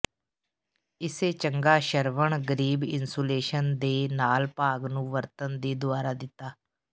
ਇਸੇ ਚੰਗਾ ਸ਼ਰਵਣ ਗਰੀਬ ਇਨਸੂਲੇਸ਼ਨ ਦੇ ਨਾਲ ਭਾਗ ਨੂੰ ਵਰਤਣ ਦੀ ਦੁਆਰਾ ਦਿੱਤਾ